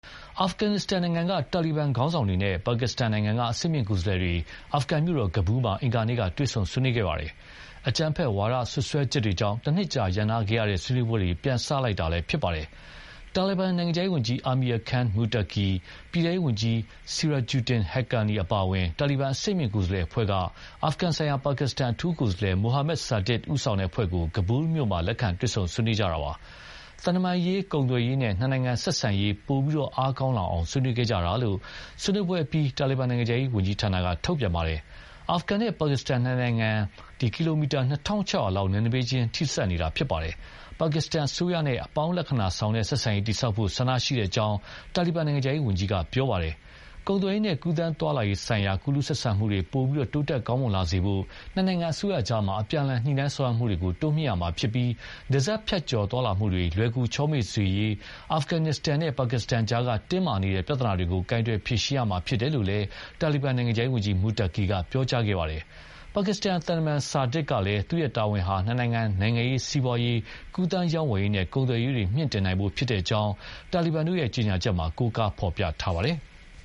အာဖဂန်နစ္စတန်နိုင်ငံက တာလီဘန်ခေါင်းဆောင်တွေနဲ့ ပါကစ္စတန်နိုင်ငံက အဆင့်မြင့်ကိုယ်စားလှယ်တွေအာဖဂန်မြို့တော် Kabul မှာ အင်္ဂါနေ့က တွေ့ဆုံဆွေးနွေးခဲ့ပါတယ်။ အကြမ်းဖက်ဝါဒစွပ်စွဲချက်တွေကြောင့် တနှစ်ကြာရပ်နားထားတဲ့ဆွေးနွေးပွဲတွေ ပြန်စလိုက်တာလည်းဖြစ်ပါတယ်။ တာလီဘန်နိုင်ငံခြားရေးဝန်ကြီး Amir Khan Muttaqi နဲ့ ပြည်ထဲရေးဝန်ကြီး Sirajuddin Haqqani အပါအဝင် တာလီဘန်အဆင့်မြင့်ကိုယ်စားလှယ်အဖွဲ့က အာဖဂန်ဆိုင်ရာ ပါကစ္စတန်အထူးကိုယ်စားလှယ် Mohammad Sadiq ဦးဆောင်တဲ့အဖွဲ့ကို Kabul မြို့မှာ လက်ခံတွေ့ဆုံဆွေးနွေးကြတာပါ။ သံတမန်ရေး၊ ကုန်သွယ်ရေး နဲ့ နှစ်နိုင်ငံဆက်ဆံရေး ပိုမိုအားကောင်းလာအောင် ဆွေးနွေးခဲ့ကြတယ်လို့ ဆွေးနွေးပွဲအပြီး တာလီဘန်နိုင်ငံခြားရေးဌာနကထုတ်ပြန်ပါတယ်။ အာဖဂန်နဲ့ ပါကစ္စတန်နှစ်နိုင်ငံဟာ ကီလိုမီတာ ၂၆၀၀ လောက်နယ်နိမိတ်ချင်း ထိစပ်နေတာဖြစ်ပါတယ်။ ပါကစ္စတန်အစိုးရနဲ့ အပေါင်းလက္ခဏာဆောင်တဲ့ဆက်ဆံရေး တည်ဆောက်ဖို့ဆန္ဒရှိကြောင်း တာလီဘန်နိုင်ငံခြားရေးဝန်ကြီးက ပြောပါတယ်။ ကုန်သွယ်ရေးနဲ့ ကူးသန်းသွားလာရေးဆိုင်ရာ ကူးလူးဆက်ဆံမှုတွေ ပိုမိုတိုးတက်ကောင်းမွန်လာစေဖို့ နှစ်နိုင်ငံအစိုးရကြား အပြန်အလှန် ညှိနှိုင်းဆောင်ရွက်မှုတွေကို တိုးမြှင့်ရမှာဖြစ်ပြီး နယ်စပ်ဖြတ်ကျော်သွားလာမှုတွေ လွယ်ကူချောမွေ့စေရေး အာဖဂန်နစ္စတန်နဲ့ ပါကစ္စတန်ကြား တင်းမာနေတဲ့ ပြဿနာတွေကို ကိုင်တွယ်ဖြေရှင်းရမှာဖြစ်တယ်လို့လည်း တာလီဘန်နိုင်ငံခြားရေးဝန်ကြီး Muttaqi က ပြောကြားခဲ့ပါတယ်။ ပါကစ္စတန်သံတမန် Sadiq ကလည်း သူ့ရဲ့တာဝန်ဟာ နှစ်နိုင်ငံ နိုင်ငံရေး၊ စီးပွားရေး၊ ကူးသန်းရောင်းဝယ်ရေးနဲ့ ကုန်သွယ်ရေး တွေ မြှင့်တင်နိုင်ဖို့ ဖြစ်ကြောင်း တာလီဘန်တို့ရဲ့ ကြေညာချက်မှာ ကိုးကားဖော်ပြထားပါတယ်။